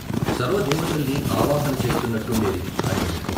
సర్వదేవతల్ని ఆవాహన చేస్తున్నట్టుండేది ఆయన ముఖం.